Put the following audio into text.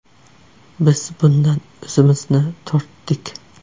Biz bundan o‘zimizni tortdik.